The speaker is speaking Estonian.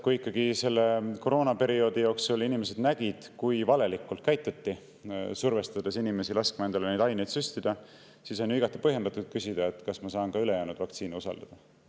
Kui selle koroonaperioodi jooksul inimesed nägid, kui valelikult käituti, kuidas survestati inimesi laskma endale neid aineid süstida, siis on ju igati põhjendatud küsida, kas ma saan ka ülejäänud vaktsiine usaldada.